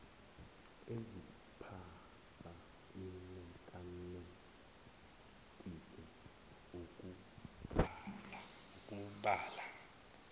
eziphasa imethamethiki ukubala